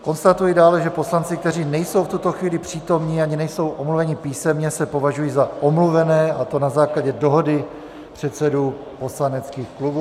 Konstatuji dále, že poslanci, kteří nejsou v tuto chvíli přítomni ani nejsou omluveni písemně, se považují za omluvené, a to na základě dohody předsedů poslaneckých klubů.